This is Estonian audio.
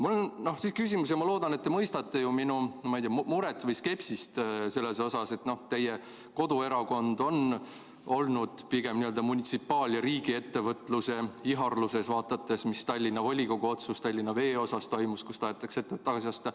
Mul on küsimus ja ma loodan, et te mõistate minu muret või skepsist selle pärast, et teie koduerakond on olnud pigem n-ö munitsipaal- ja riigiettevõtluse ihaluses, vaadates Tallinna volikogu otsust, et Tallinna Vesi tahetakse tagasi osta.